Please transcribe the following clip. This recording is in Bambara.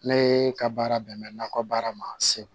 Ne ka baara bɛn bɛ nakɔ baara ma segu